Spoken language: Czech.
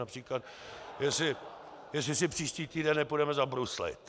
Například jestli si příští týden nepůjdeme zabruslit.